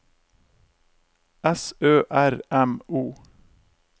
S Ø R M O